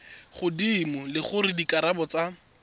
godimo le gore dikarabo tsa